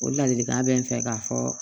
O ladilikan bɛ n fɛ ka fɔ